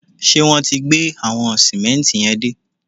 Ṣé wọn ti gbé àwọn sìmẹ́ǹtì yẹn dé?